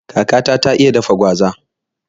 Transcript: Kakata ta iya dafa gwaza da kyau